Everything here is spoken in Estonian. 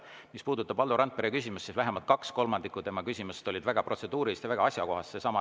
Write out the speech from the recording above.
Mis puudutab Valdo Randpere küsimusi, siis vähemalt kaks kolmandikku tema küsimustest olid väga protseduurilised ja väga asjakohased.